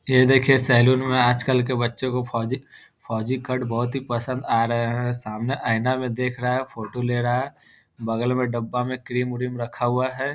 ये देखिए सैलून में आज कल के बच्चे फौजी फौजी कट बहुत ही पसंद आ रहे हैं सामने ऐईना मे देख रहा है फोटो ले रहा है बगल में डब्बा में क्रीम - उरीम रखा हुआ है।